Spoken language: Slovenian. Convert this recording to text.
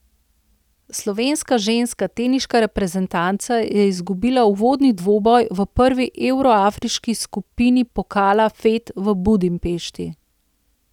Slovenska ženska teniška reprezentanca je izgubila uvodni dvoboj v prvi evroafriški skupini pokala Fed v Budimpešti.